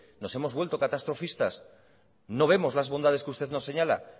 nos hemos vuelto catastrofistas no vemos las bondades que usted nos señala